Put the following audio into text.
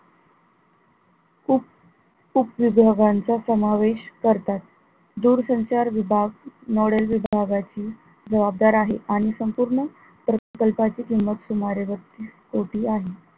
उपविभागांचा समावेश करतात. दूरसंचार विभाग model विभागाची जवाबदार आहे आणि संपूर्ण प्रकल्पाची सुमारे बत्तीस कोटी आहे.